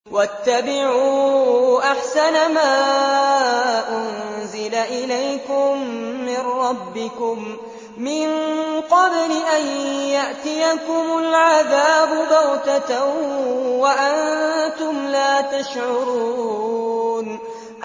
وَاتَّبِعُوا أَحْسَنَ مَا أُنزِلَ إِلَيْكُم مِّن رَّبِّكُم مِّن قَبْلِ أَن يَأْتِيَكُمُ الْعَذَابُ بَغْتَةً وَأَنتُمْ لَا تَشْعُرُونَ